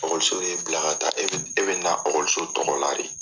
y'e bila ka taa e bɛ na tɔgɔ la de.